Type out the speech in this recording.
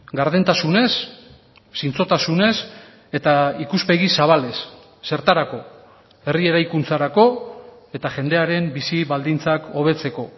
gardentasunez zintzotasunez eta ikuspegi zabalez zertarako herri eraikuntzarako eta jendearen bizi baldintzak hobetzeko